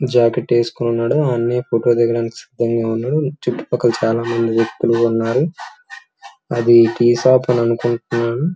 చుట్టూ పక్కల చాలా చెట్లు ఉన్నాయి అది టీ షాప్ అనుకుంటాను.